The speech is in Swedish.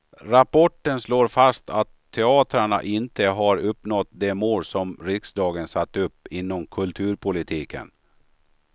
Rapporten slår fast att teatrarna inte har uppnått de mål som riksdagen satt upp inom kulturpolitiken.